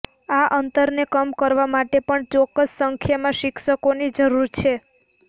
આ અંતરને કમ કરવા માટે પણ ચોક્કસ સંખ્યામાં શિક્ષકોની જરૂર છે